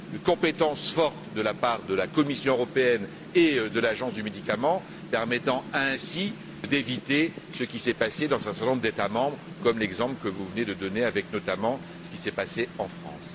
compétence forte de la part de la Commission européenne et de l'Agence des médicaments permettant ainsi d'éviter ce qui s'est passé dans un certain nombre d'États membres, comme l'exemple que vous venez de donner avec ce qui s'est passé en France.